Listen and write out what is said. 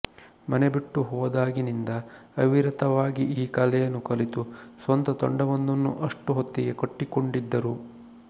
ಮನೆಬಿಟ್ಟು ಹೋದಾಗಿನಿಂದ ಅವಿರತವಾಗಿ ಈ ಕಲೆಯನ್ನು ಕಲಿತು ಸ್ವಂತ ತಂಡಮೊಂದನ್ನು ಅಷ್ಟು ಹೊತ್ತಿಗೆ ಕಟ್ಟಿಕೊಂಡಿದ್ದರು